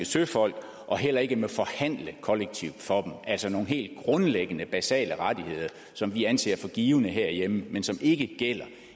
søfolk og heller ikke må forhandle kollektivt for altså nogle helt basale rettigheder som vi anser for givne herhjemme men som ikke gælder